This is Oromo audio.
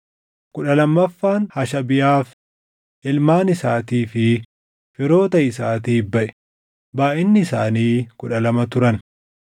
kudha lammaffaan Hashabiyaaf, // ilmaan isaatii fi firoota isaatiif baʼe; // baayʼinni isaanii kudha lama turan